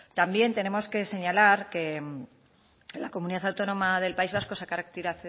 también tenemos que señalar que en la comunidad autónoma del país vasco se ha